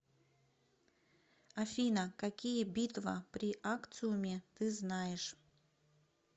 афина какие битва при акциуме ты знаешь